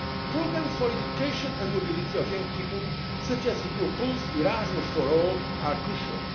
Funds. Programmes for education and mobility of young people, such as the proposed Erasmus for all', are